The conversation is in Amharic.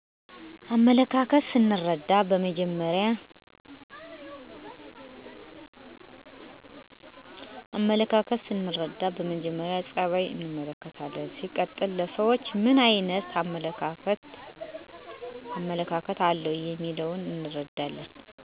አመለካከት ሰንርዳ መጀመሪ ፀበይ እንመለከታለን ሲቀጥል ለሰውች ምን አይነት አመለካከተ አለው የሚለውን እንርዳለን።